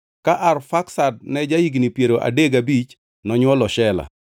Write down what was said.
Ka Arfaksad ne ja-higni piero adek gabich nonywolo Shela.